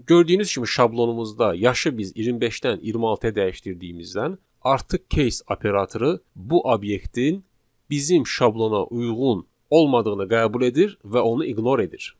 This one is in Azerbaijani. Gördüyünüz kimi şablonumuzda yaşı biz 25-dən 26-ya dəyişdirdiyimizdən artıq case operatoru bu obyektin bizim şablona uyğun olmadığını qəbul edir və onu ignore edir.